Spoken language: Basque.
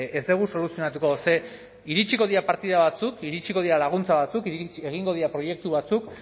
ez dugu soluzionatuko ze iritsiko dira partida batzuk iritsiko dira laguntza batzuk egingo dira proiektu batzuk